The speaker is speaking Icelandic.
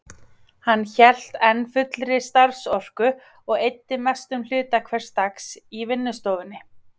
Hann hélt enn fullri starfsorku og eyddi mestum hluta hvers dags í vinnustofunni.